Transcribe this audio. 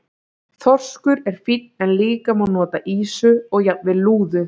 Þorskur er fínn en líka má nota ýsu og jafnvel lúðu.